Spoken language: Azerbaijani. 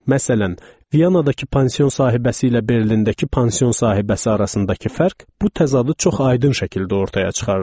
Məsələn, Viyandakı pansion sahibəsi ilə Berlindəki pansion sahibəsi arasındakı fərq bu təzadı çox aydın şəkildə ortaya çıxarırdı.